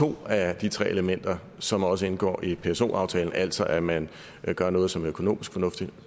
to af de tre elementer som også indgår i pso aftalen altså at man gør noget som er økonomisk fornuftigt